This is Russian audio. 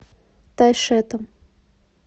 тайшетом